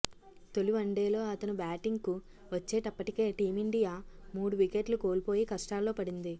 తొలి వన్డేలో అతను బ్యాటింగ్కు వచ్చేటప్పటికే టీమిండియా మూడు వికెట్లు కోల్పోయి కష్టాల్లో పడింది